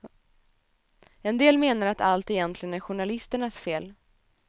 En del menar att allt egentligen är journalisternas fel.